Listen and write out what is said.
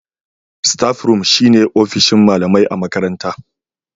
Staff room shine ofishin malamai a makaranta